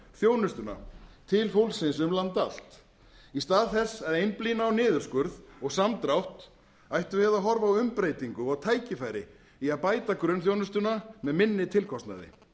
þjónustuna til fólksins um land allt í stað þess að einblína á niðurskurð og samdrátt ættum við að horfa á umbreytingu og tækifæri í að bæta grunnþjónustuna með minni tilkostnaði